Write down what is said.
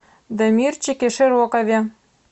дамирчике широкове